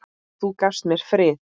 Og þú gafst mér frið.